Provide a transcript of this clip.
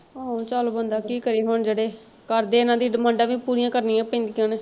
ਹੋਰ ਚਲ ਬੰਦਾ ਕੀ ਕਰੇ ਹੁਣ ਜਿਹੜੇ ਕਰਦੇ ਇਹਨਾਂ ਦੀ demands ਵੀ ਪੂਰੀਆਂ ਕਰਨੀਆਂ ਪੈਂਦੀਆਂ ਨੇ।